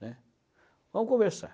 né. Vamos conversar.